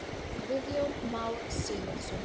Guðjón Már Sigurðsson.